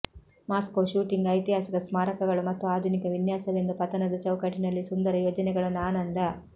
Moscow shooting ಐತಿಹಾಸಿಕ ಸ್ಮಾರಕಗಳು ಮತ್ತು ಆಧುನಿಕ ವಿನ್ಯಾಸವೆಂದು ಪತನದ ಚೌಕಟ್ಟಿನಲ್ಲಿ ಸುಂದರ ಯೋಜನೆಗಳನ್ನು ಆನಂದ